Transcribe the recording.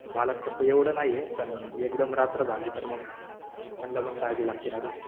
मला तसं एवढं नाहीये. पण एकदम रात्र झाली तर मग त्यांना पण काळजी लागती ना रे.